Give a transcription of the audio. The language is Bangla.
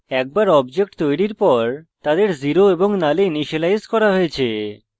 একবার object তৈরীর পর তাদের 0 এবং null এ ইনিসিয়েলাইজ করা হয়েছে